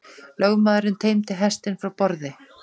Lögmaðurinn teymdi hestinn frá borði.